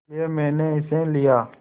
इसलिए मैंने इसे लिया